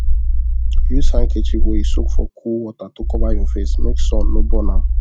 use handkerchief wey you soak for cool water to cover your face make sun no burn am